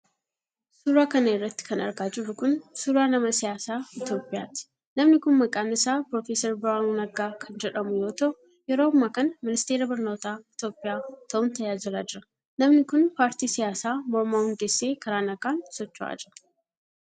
Suura kana irratti kan argaa jirru kun, suura nama siyaasaa Itoophiyaati. Namni kun maqaan isaa Professor Birhaanuu Naggaa kan jedhamu yoo ta'u, yeroo ammaa kana ministeera barnootaa Itoophiyaa ta'un tajaajilaa jira. Namni kun, paartii siyaasaa mormaa hundeessee karaa nagaan socho'aa jira.